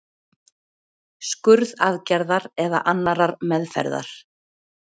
skurðaðgerðar eða annarrar meðferðar?